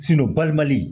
balimali